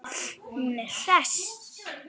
Hún er hress.